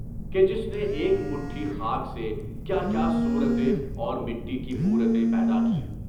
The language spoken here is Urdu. کہ جس نے ایک مٹھی خاک سے کیا کیا صورتیں اور مٹی کی مورتیں پیدا کیں!